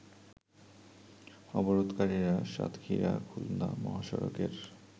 অবরোধকারীরা সাতক্ষীরা খুলনা মহাসড়কের